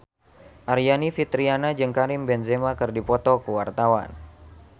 Aryani Fitriana jeung Karim Benzema keur dipoto ku wartawan